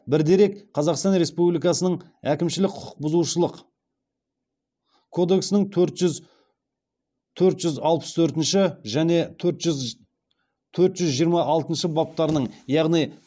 бір дерек қазақстан республикасының әкімшілік құқықбұзушылық кодексінің төрт жүз алпыс төртінші және төрт жүз жиырма алтыншы баптарының яғни